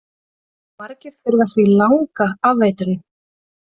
Margir þurfa því langa afeitrun